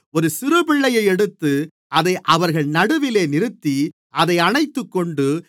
ஒரு சிறுபிள்ளையை எடுத்து அதை அவர்கள் நடுவிலே நிறுத்தி அதை அணைத்துக்கொண்டு